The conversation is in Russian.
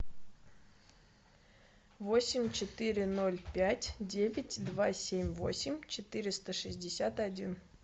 восемь четыре ноль пять девять два семь восемь четыреста шестьдесят один